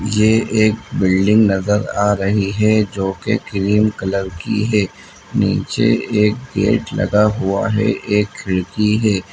ये एक बिल्डिंग नजर आ रही है जो की क्रीम कलर की है नीचे एक गेट लगा हुआ है एक खिड़की है।